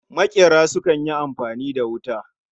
Makera sukan yi amfani da wuta